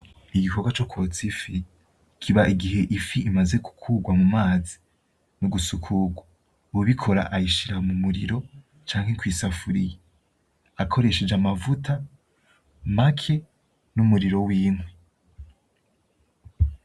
Igikorwa cokwotsa ifi. Kiba igihe ifi imaze gukurwa mumazi, mugusukurwa. Uwubikora ayishira mumuriro, canke kwisafuriya akoresheje amavuta make numuriro w’inkwi.